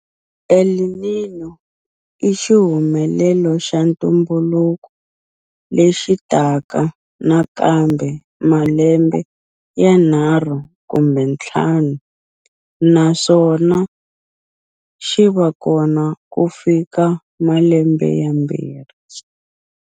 El Niño i xihumelelo xa ntumbuluko lexi taka nakambe malembe yanharhu kumbe ntlhanu naswona xi va kona ku fika malembe yambirhi.